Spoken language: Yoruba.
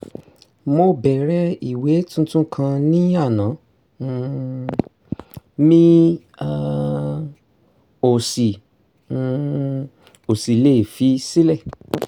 mo bẹ̀rẹ̀ ìwé tuntun kan ní àná um mi um ò sì um ò sì lè fi sílẹ̀